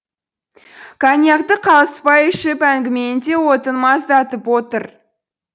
коньякты қалыспай ішіп әңгіменің де отын маздатып отыр